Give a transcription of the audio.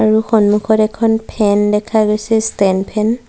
আৰু সন্মুখত এখন ফেন দেখা গৈছে ষ্টেণ্ড ফেন ।